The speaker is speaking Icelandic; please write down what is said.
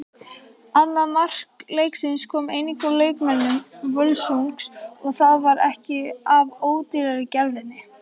Annað mark leiksins kom einnig frá leikmönnum Völsungs og það var ekki af ódýrari gerðinni.